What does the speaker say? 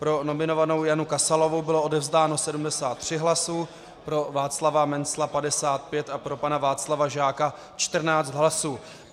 Pro nominovanou Janu Kasalovou bylo odevzdáno 73 hlasů, pro Václava Mencla 55 a pro pana Václava Žáka 14 hlasů.